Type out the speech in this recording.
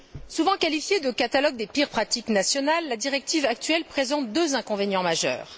Souvent qualifiée de catalogue des pires pratiques nationales, la directive actuelle présente deux inconvénients majeurs.